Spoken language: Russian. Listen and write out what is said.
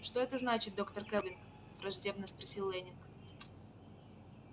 что это значит доктор кэлвин враждебно спросил лэннинг